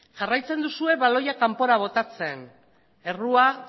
jarraitzen duzue baloia kanpora botatzen errua